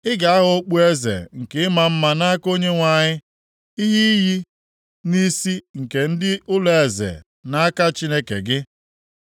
Ị ga-aghọ okpueze nke ịma mma nʼaka Onyenwe anyị, ihe iyi nʼisi nke ndị ụlọeze nʼaka Chineke gị.